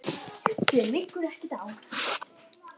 Þér liggur ekkert á.